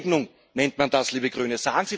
Eine Enteignung nennt man das, liebe Grüne.